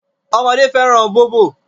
Ọmọdé fẹ́ràn bóbò.